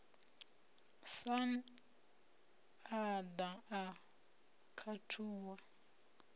sun a ḓa a khathuwa